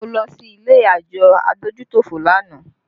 Mo lọ sí ilé àjọ adójútòfò lánàá